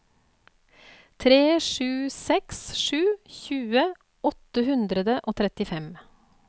tre sju seks sju tjue åtte hundre og trettifem